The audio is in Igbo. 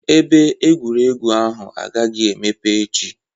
Ebe egwuregwu ahụ agaghị emepe echi